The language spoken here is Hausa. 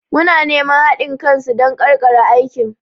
Muna neman haɗin kan su don ƙarƙare aikin.